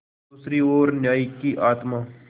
दूसरी ओर न्याय की आत्मा